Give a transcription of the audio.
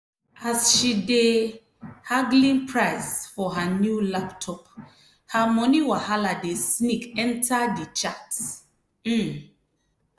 as she dey haggling price for her new laptop her money wahala dey sneak enter di chat. um